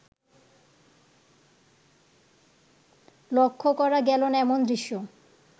লক্ষ্য করা গেলো না এমন দৃশ্য